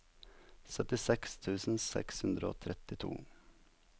syttiseks tusen seks hundre og trettito